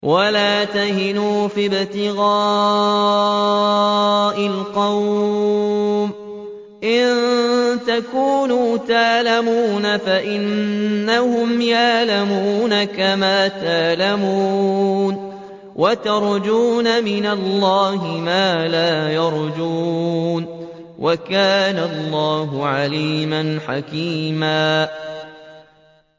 وَلَا تَهِنُوا فِي ابْتِغَاءِ الْقَوْمِ ۖ إِن تَكُونُوا تَأْلَمُونَ فَإِنَّهُمْ يَأْلَمُونَ كَمَا تَأْلَمُونَ ۖ وَتَرْجُونَ مِنَ اللَّهِ مَا لَا يَرْجُونَ ۗ وَكَانَ اللَّهُ عَلِيمًا حَكِيمًا